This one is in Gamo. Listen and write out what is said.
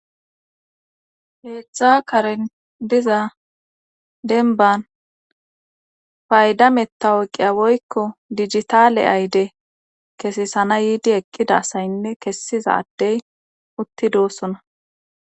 heetzdtza karen diza denban faydametta oyqiya woykko digitaale ayde kesisana yiidi eqqida saynne kessizaadey utti doosona